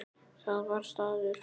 Það var staður.